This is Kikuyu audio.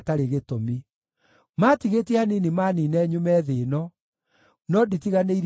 Maatigĩtie hanini maaniine nyume thĩ ĩno, no nditiganĩirie mawatho maku.